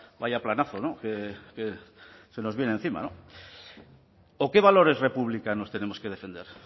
vaya planazo se nos viene encima no o qué valores republicanos tenemos que defender